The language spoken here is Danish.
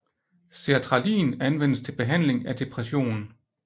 Sertralin anvendes til behandling af depression